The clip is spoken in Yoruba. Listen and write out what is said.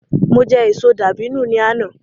Mo jẹ èso dàbínù ni àná